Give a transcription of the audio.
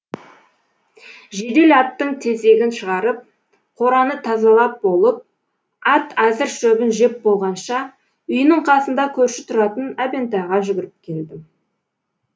жедел аттың тезегін шығарып қораны тазалап болып ат әзір шөбін жеп болғанша үйінің қасында көрші тұратын әбентайға жүгіріп келдім